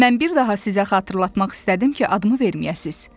Mən bir daha sizə xatırlatmaq istədim ki, adımı verməyəsiniz.